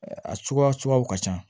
A suguya suguyaw ka ca